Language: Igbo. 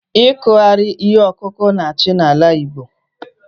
Ikughari ihe ọkụkụ na-achị n'ala Igbo